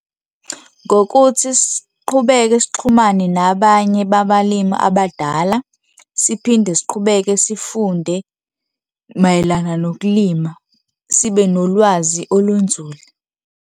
Ngokuthi siqhubeke sixhumane nabanye babalimi abadala, siphinde siqhubeke sifunde mayelana nokulima sibe nolwazi olunzulu.